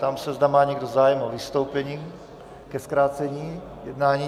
Ptám se, zda má někdo zájem o vystoupení ke zkrácení jednání.